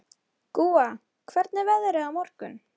Gúa, hvernig er veðrið á morgun?